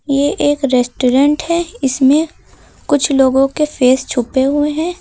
ये एक रेस्टोरेंट है इसमें कुछ लोगोंके फेस छुपे हुए हैं।